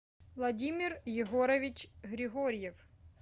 владимир егорович григорьев